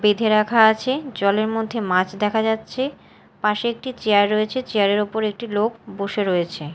বেঁধে রাখা আছে জলের মধ্যে মাছ দেখা যাচ্ছে পাশে একটি চেয়ার রয়েছে চেয়ার -এর ওপর একটি লোক বসে রয়েছে।